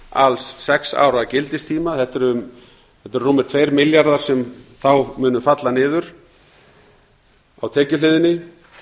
alls sex ára gildistíma þetta eru rúmir tveir milljarðar sem þá munu falla niður á tekjuhliðinni